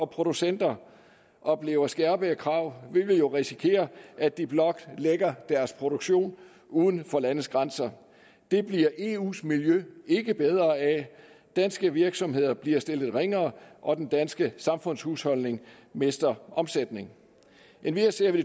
producenter oplever skærpede krav vil vi jo risikere at de blot lægger deres produktion uden for landets grænser det bliver eus miljø ikke bedre af danske virksomheder bliver stillet ringere og den danske samfundshusholdning mister omsætning endvidere ser vi